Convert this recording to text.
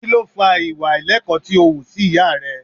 Kí ló fa ìwà àìlẹ́kọ̀ọ́ tí ó wù sí ìyá rẹ?